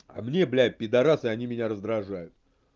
а мне блядь пидарасы они меня раздражают